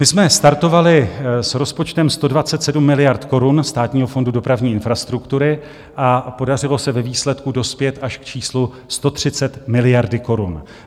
My jsme startovali s rozpočtem 127 miliard korun Státního fondu dopravní infrastruktury a podařilo se ve výsledku dospět až k číslu 130 miliard korun.